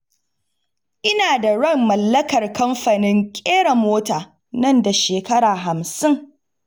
Ina da ran mallakar kamfanin ƙera mota nan da shekara hamsin.